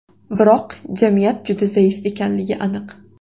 Biroq jamiyat juda zaif ekanligi aniq.